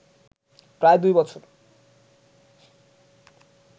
প্রায় দুই বছর